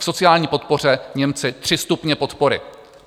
V sociální podpoře Němci - tři stupně podpory.